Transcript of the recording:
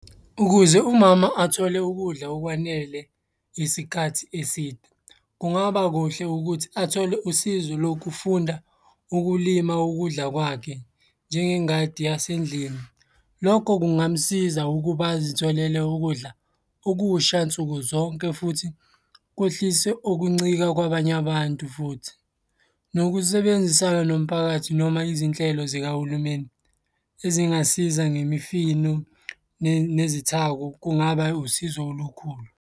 Ukuze umama athole ukudla okwanele isikhathi eside, kungaba kuhle ukuthi athole usizo lokufunda ukulima ukudla kwakhe, njengengadi yasendlini. Lokho kungamsiza ukuba azitholele ukudla okusha nsuku zonke futhi kwehlise ukuncika kwabanye abantu, futhi. Nokusebenzisana nomphakathi noma izinhlelo zikahulumeni ezingasiza ngemifino nezithako kungaba usizo olukhulu.